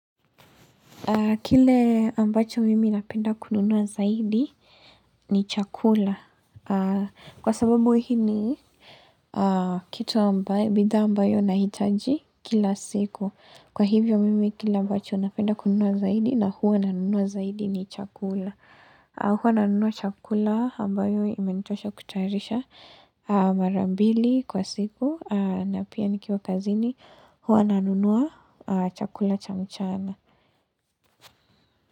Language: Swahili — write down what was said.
Kile ambacho mimi napenda kununua zaidi ni chakula. Kwa sababu hii ni kitu ambayo, bidhaa ambayo nahitaji kila siku. Kwa hivyo mimi kile ambacho napenda kununua zaidi na huwa nanunua zaidi ni chakula. Huwa nanunua chakula ambayo imenitosha kutayarisha mara mbili kwa siku. Na pia nikiwa kazini huwa nanunua chakula cha mchana.